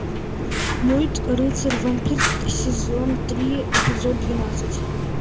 мульт рыцарь вампир сезон три эпизод двенадцать